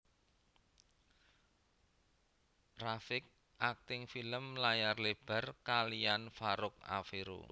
rafiq akting film layar lebar kaliyan Farouk Afero